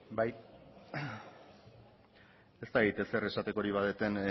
bai ez dakit ezer esatekorik badudan